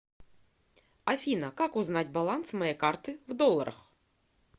афина как узнать баланс моей карты в долларах